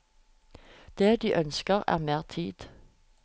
Det de ønsker er mer tid.